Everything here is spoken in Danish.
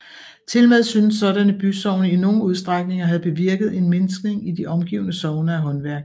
Tilmed synes sådanne bysogne i nogen udstrækning at have bevirket en mindskning i de omgivende sogne af håndværk